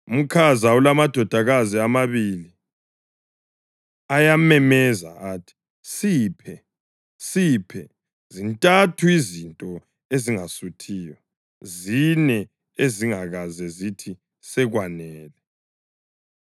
Umkhaza ulamadodakazi amabili; ayamemeza athi, ‘Siphe! Siphe!’ Zintathu izinto ezingasuthiyo, zine ezingakaze zithi, ‘Sekwanele!’: